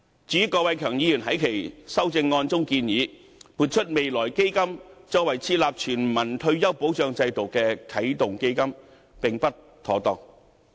至於郭偉强議員在其修正案中，建議撥出未來基金作為設立全民退保制度的啟動基金，這是並不妥當的。